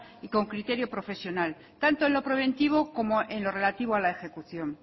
y con criterio profesional tanto en lo preventivo como en lo relativo a la ejecución